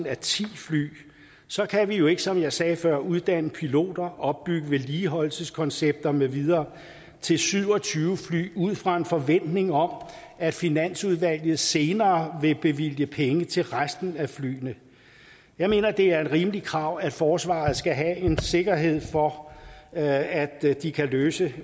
af ti fly så kan vi jo ikke som jeg sagde før uddanne piloter opbygge vedligeholdelseskoncepter med videre til syv og tyve fly ud fra en forventning om at finansudvalget senere vil bevilge penge til resten af flyene jeg mener det er et rimeligt krav at forsvaret skal have en sikkerhed for at de kan løse